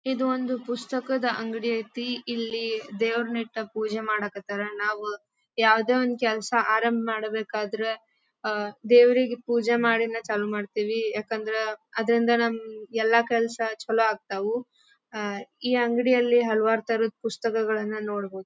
ಇದು ಒಂದು ಪುಸ್ತಕದ ಅಂಗಡಿ ಐತಿ. ಇಲ್ಲಿ ದೇವ್ರನ್ ಇಟ್ಟ ಪೂಜೆ ಮಾಡಕತ್ತರ್. ನಾವು ಯಾವದೇ ಒಂದ್ ಕೆಲಸ ಆರಂಭ ಮಾಡಬೇಕಾದ್ರೆ ಅಹ್ ದೇವ್ರಿಗೆ ಪೂಜೆ ಮಾಡಿನೇ ಚಾಲು ಮಾಡತ್ತಿವಿ. ಯಾಕಂದ್ರ ಅದ್ರಿಂದ ನಮ್ಮ ಎಲ್ಲಾ ಕೆಲಸ ಚಲೋ ಆಗ್ತವು ಅಹ್ ಈ ಅಂಗಡಿಯಲ್ಲಿ ಹಲವಾರ ತರದ ಪುಸ್ತಕಗಳನ್ನಾ ನೋಡಬಹುದ್.